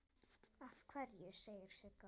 Af hverju, segir Sigga.